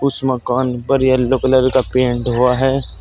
उस मकान पर येलो कलर का पेंट हुआ है।